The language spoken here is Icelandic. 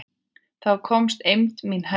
Þá komst eymd mín hæst.